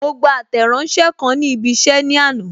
Mo gba Àtẹ̀ránsẹ́ kan ni ibi isẹ ní àná.